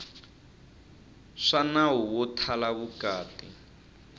swa nawu wo thala vukati